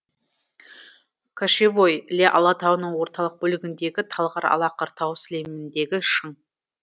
кошевой іле алатауының орталық бөлігіндегі талғар алақыр тау сілеміндегі шың